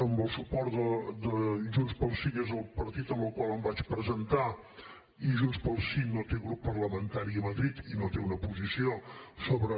amb el suport de junts pel sí que és el partit amb el qual em vaig presentar i junts pel sí no té grup parlamentari a madrid i no té una posició sobre